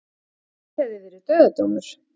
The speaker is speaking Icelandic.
Hitt hefði verið dauðadómur